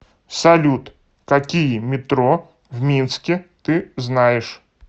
салют какие метро в минске ты знаешь